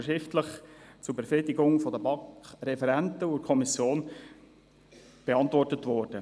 Diese wurden zur Befriedigung der BaK-Referenten und der Kommission mündlich und schriftlich beantwortet.